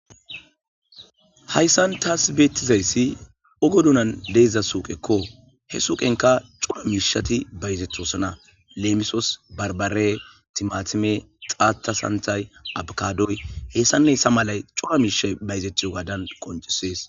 Hayssan ta beyizay oge bolla de7iza suuqekko he suyqenka Cora mishati bayzetosona Lemososi barbare timatime qata santha. Adoy h.h.mCora mishay Bayzetiyogadan Qonccisses